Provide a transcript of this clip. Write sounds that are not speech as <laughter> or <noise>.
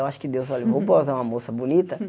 Eu acho que Deus, <unintelligible> <laughs> vou botar uma moça bonita.